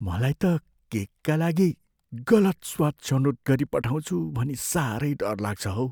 मलाई त केकका लागि गलत स्वाद छनोट गरिपठाउँछु भनी साह्रै डर लाग्छ हौ।